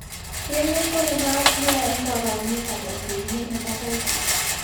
Keng'et ko ne naat nia eng' kaabarunetap autoimmune hepatitis.